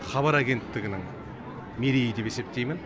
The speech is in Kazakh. хабар агенттігінің мерейі деп есептеймін